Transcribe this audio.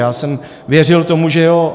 Já jsem věřil tomu, že jo.